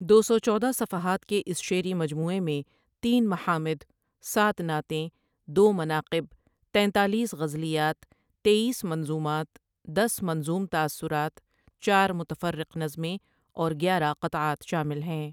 دو سو چودہ صفحات کےاس شعری مجموعےمیں تین محامد، ساتھ نعتیں، دو مناقِب، تینتالیس غزلیات تییس منظومات، دس منظوم تاثرات، چار متفرق نظمیں اور گیارہ قطعات شامل ہیں ۔